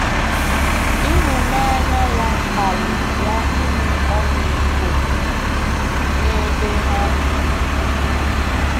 Ịhụnanya ya kpaliri ya inwe ọmịiko n'ebe ha nọ.